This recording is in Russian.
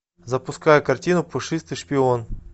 запускай картину пушистый шпион